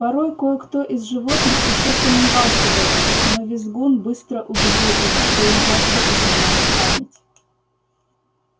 порой кое-кто из животных ещё сомневался в этом но визгун быстро убедил их что им просто изменяет память